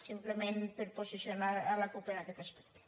simplement per posicionar la cup en aquest aspecte